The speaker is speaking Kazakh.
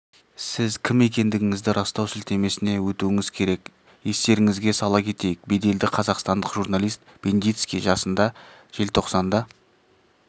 сіз кім екендігіңізді растау сілтемесіне өтуіңіз керек естеріңізге сала кетейік беделді қазақстандық журналист бендицкий жасында желтоқсанда